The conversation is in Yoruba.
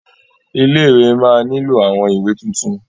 Ilé-ìwé máa nílò àwọn ìwé tuntun.